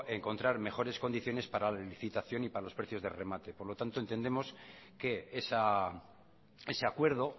encontrar mejores condiciones para la licitación y para los precios de remate por lo tanto entendemos que ese acuerdo